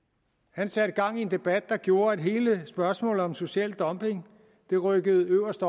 han satte gang i en debat der gjorde at hele spørgsmålet om social dumping rykkede øverst